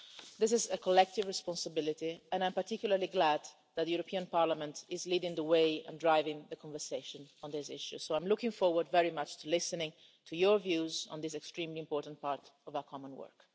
This is a collective responsibility and I'm particularly glad that the European Parliament is leading the way and driving the conversation on this issue, so I am looking forward very much to listening to your views on this extremely important part of our common work.